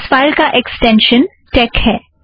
इस फ़ाइल का एक्स्टेंशन टेक है